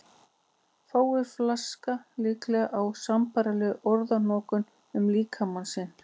Fáir flaska líklega á sambærilegri orðanotkun um líkama sinn.